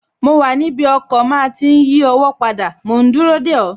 Mo wà níbi ọkọ̀ máa tí n yí ọwọ́ padà mòún dúró dè ọ́